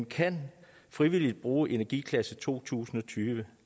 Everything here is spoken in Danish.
kan frivilligt bruge energiklasse to tusind og tyve